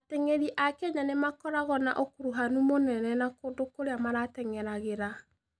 Ateng'eri a Kenya nĩ makoragwo na ũkuruhanu mũnene na kũndũ kũrĩa mateng'eragĩra.